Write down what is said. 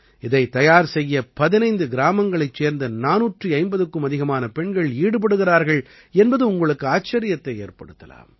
இதைத் தயார் செய்ய 15 கிராமங்களைச் சேர்ந்த 450க்கும் அதிகமான பெண்கள் ஈடுபடுகிறார்கள் என்பது உங்களுக்கு ஆச்சரியத்தை ஏற்படுத்தலாம்